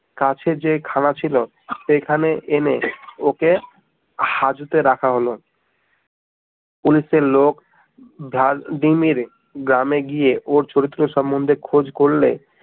কাছের যেই থানা ছিল সেখানে এনে ওকে হাজতে রাখা হলো। পুলিশের লোক ধার দি মেরে গ্রামে গিয়ে ওর ছোট ছোট সম্বন্ধে খোঁজ করলে